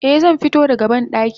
Eh zanfito da ga bandaki.